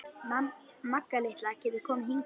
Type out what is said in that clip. Magga litla getur komið hingað.